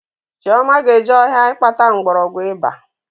Chioma ga-eje ọhịa ịkpata mgbọrọgwụ iba